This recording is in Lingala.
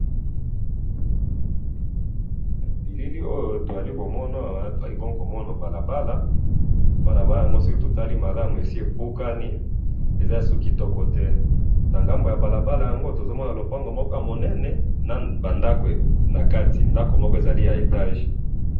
Na moni balabala ya ko beba na ba ndako na kati, ndako moko ya etage.